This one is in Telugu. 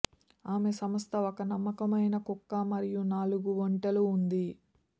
ఆమె సంస్థ ఒక నమ్మకమైన కుక్క మరియు నాలుగు ఒంటెలు ఉంది